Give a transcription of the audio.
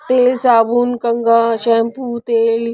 तेल साबुन कंगा शैंपू तेल--